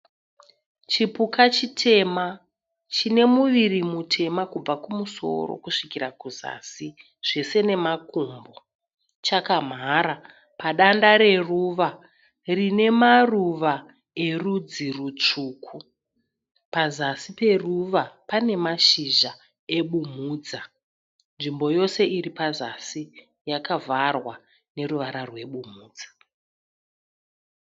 Chipuka chitema chine muviri mutema kubva kuzasi kusvikrira kuzasi zvese nemakumbo. Chakamhara padanda reruva rine maruva erudzi rutsvuku. Pazasi peruva pane mashizha ebumhudza. Nzvimbo yose iri pazasi yakavharwa neruvara rwebumhudza.